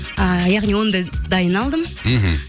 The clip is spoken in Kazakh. ы яғни оны да дайын алдым мхм